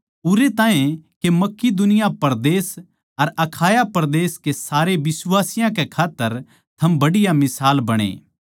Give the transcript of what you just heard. उरै ताहीं के मकिदुनिया परदेस अर अखाया परदेस के सारे बिश्वासियाँ कै खात्तर थम बढ़िया मिसाल बणै